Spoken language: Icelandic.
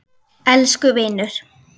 Elsku vinur.